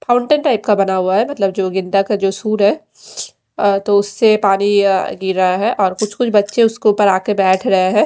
Counter type का बना हुआ है मतलब जो गेंदा का जो सुर है अह तो उसे पानी अह गिर रहा है और कुछ कुछ बच्चे उसके ऊपर आ के बैठ रहे हैं।